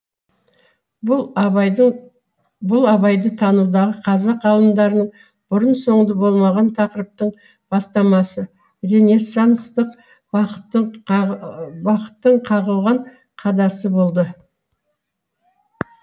бұл абайды танудағы қазақ ғалымдарының бұрын соңды бармаған тақырыптың бастамасы ренессанстық бағыттың қағылған қадасы болды